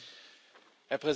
Herr Präsident!